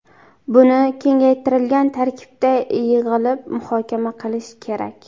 Buni kengaytirilgan tarkibda yig‘ilib muhokama qilish kerak.